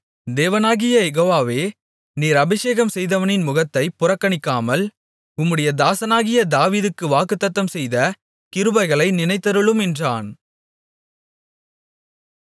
தேவனாகிய யெகோவாவே நீர் அபிஷேகம்செய்தவனின் முகத்தைப் புறக்கணிக்காமல் உம்முடைய தாசனாகிய தாவீதுக்கு வாக்குத்தத்தம்செய்த கிருபைகளை நினைத்தருளும் என்றான்